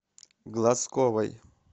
глазковой